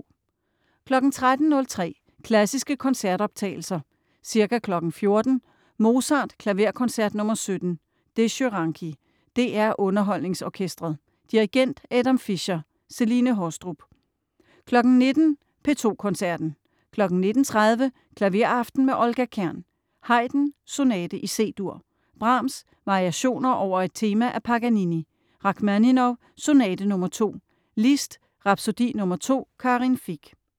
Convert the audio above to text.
13.03 Klassiske koncertoptagelser. Ca. 14.00 Mozart: Klaverkoncert nr. 17. Dezsö Ranki. DR UnderholdningsOrkestret. Dirigent: Adam Fischer. Celine Haastrup 19.00 P2 Koncerten. 19.30 Klaveraften med Olga Kern. Haydn: Sonate i C-dur. Brahms: Variationer over et tema af Paganini. Rakhmaninov: Sonate nr. 2. Liszt: Rapsodi nr. 2. Karin Fich